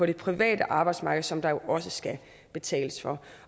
det private arbejdsmarked som der jo også skal betales for